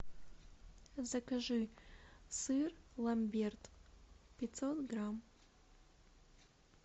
закажи сыр ламберт пятьсот грамм